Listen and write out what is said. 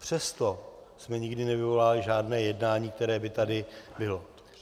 Přesto jsme nikdy nevyvolávali žádné jednání, které by tady bylo.